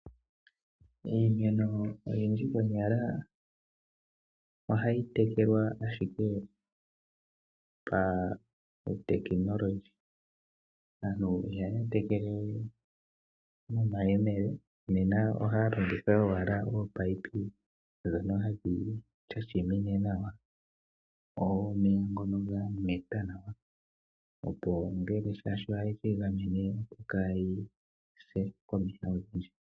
Iimeno oyindji konyala ohayi tekelwa owala pautekinolohi, aantu ihaya tekele we nomayemele, ohaya longitha owala oopayipi dhono adhika sha shimine nawa omeya dhameta opo shaashi ngele ohadhi egamene kaadhi se komeya.